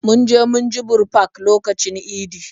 Mun je munjibir park lokacin idi